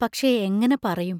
പക്ഷേ, എങ്ങനെ പറയും?